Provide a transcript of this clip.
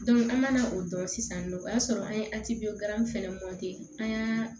an mana o dɔn sisan nɔ o y'a sɔrɔ an ye fɛnɛ an y'a